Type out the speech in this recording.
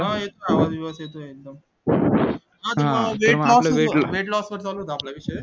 हा येतोय आवाज विवाज येतोय एकदम weight loss वर चालू होता आपला विषय